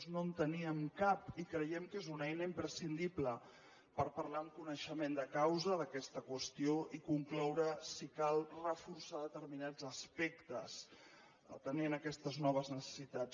no en teníem cap i creiem que és una eina imprescindible per parlar amb coneixement de causa d’aquesta qüestió i concloure si cal reforçar determinats aspectes atenent aquestes noves necessitats